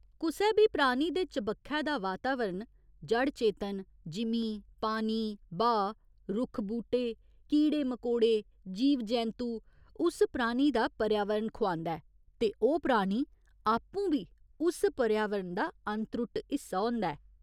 कुसै बी प्राणी दे चबक्खै दा वातावरण, जड़ चेतन, जिमीं, पानी, ब्हाऽ, रुक्ख बूह्टे, कीड़े मकोड़े, जीव जैंतु उस प्राणी दा 'पर्यावरण' खुआंदा ऐ ते ओह् प्राणी आपूं बी उस पर्यावरण दा अनत्रुट्ट हिस्सा होंदा ऐ।